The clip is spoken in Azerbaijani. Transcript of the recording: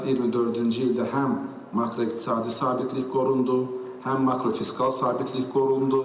24-cü ildə həm makroiqtisadi sabitlik qorundu, həm makrofiskal sabitlik qorundu.